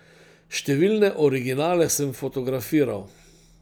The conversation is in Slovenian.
Številne originale sem fotografiral.